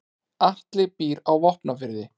Atli býr á Vopnafirði.